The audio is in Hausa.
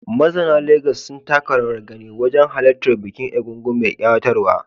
Mazauna Legas sun taka rawar gani wajen halartar bukin egúngún mai kayatarwa